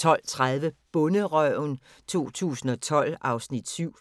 12:30: Bonderøven 2012 (Afs. 7)